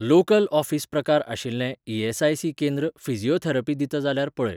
Local office प्रकार आशिल्लें ESIC. केंद्र फिजिओथेरपी दिता जाल्यार पळय.